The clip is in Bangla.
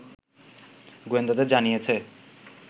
গোয়েন্দাদের জানিয়েছে